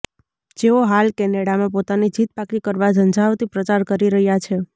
જેઓ હાલ કેનેડામાં પોતાની જીત પાક્કી કરવા ઝંઝાવતી પ્રચાર કરી રહ્યા છે